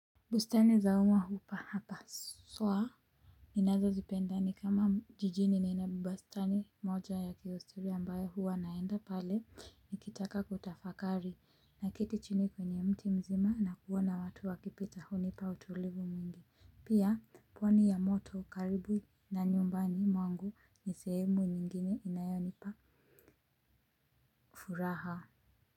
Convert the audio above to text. Bustani za umma hupa hapa swa. Inazo zipenda ni kama jijini nina bustani moja ya kihistoria ambayo huwa naenda pale, nikitaka kutafakari naketi chini kwenye mti mzima na kuona watu wakipita hunipa utulivu mwingi. Pia, pwani ya moto karibu na nyumbani mwangu ni sehemu nyingine inayonipa furaha. Kwa hivyo.